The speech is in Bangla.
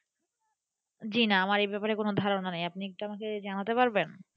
জি না আমার এ ব্যাপার এ কোনো ধারণা নাই আপনি আমাকে জানাতে পারবেন।